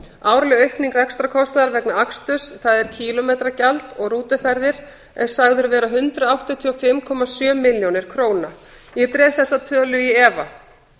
árleg aukning rekstrarkostnaðar vegna aksturs það er kílómetragjald og rútuferðir er sögð vera hundrað áttatíu og fimm komma sjö milljónir króna ég dreg þessa tölu í efa